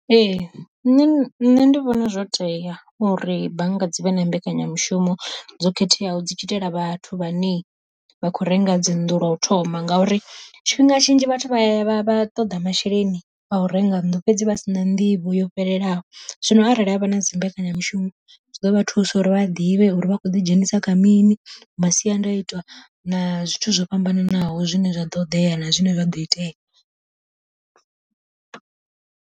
Ee nṋe nṋe ndi vhona zwo tea uri bannga dzivhe na mbekanyamushumo dzo khetheaho dzi tshi itela vhathu vhane vha khou renga dzi nnḓu lwa u thoma, ngauri tshifhinga tshinzhi vhathu vha vha vha ṱoḓa masheleni a u renga nnḓu fhedzi vha si na nḓivho yo fhelelaho. Zwino arali havha na dzimbekanyamishumo zwi ḓo vha thusa uri vha ḓivhe uri vha khou ḓidzhenisa kha mini masiandaitwa na zwithu zwo fhambananaho zwine zwa ṱoḓea na zwine zwa ḓo itea.